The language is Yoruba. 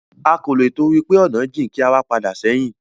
A kò lè tìtorí pé ọ̀nà jìn kí a wá padà sẹ́hìn.